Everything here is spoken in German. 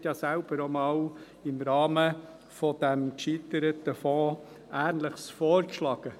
Sie hat ja selbst einmal im Rahmen dieses gescheiterten Fonds ähnliches vorgeschlagen.